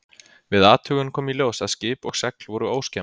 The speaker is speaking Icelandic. Við athugun kom í ljós að skip og segl voru óskemmd.